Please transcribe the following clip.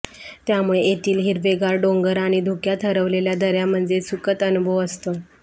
त्यामुळे येथील हिरवेगार डोंगर आणि धुक्यात हरवलेल्या दऱ्या म्हणजे सुखद अनुभव असतो